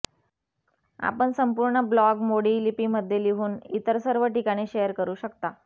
आपण संपूर्ण ब्लॉग मोडी लिपीमध्ये लिहून इतर सर्व ठिकाणी शेअर करु शकता